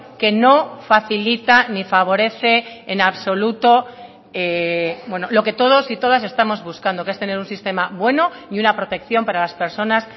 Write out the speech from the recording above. que no facilita ni favorece en absoluto lo que todos y todas estamos buscando que es tener un sistema bueno y una protección para las personas